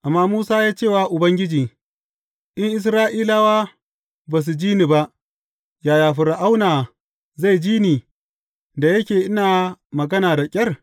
Amma Musa ya ce wa Ubangiji, In Isra’ilawa ba su ji ni ba, yaya Fir’auna zai ji ni, da yake ina magana da ƙyar?